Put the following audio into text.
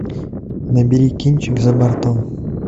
набери кинчик за бортом